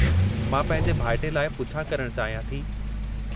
मां पंहिंजे भाइटे लाइ पुछा करणु चाहियां थी।